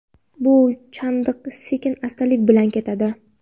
Bu chandiq sekin-astalik bilan ketadi.